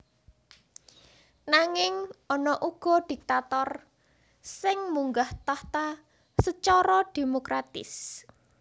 Nanging ana uga diktator sing munggah tahta sacara démokratis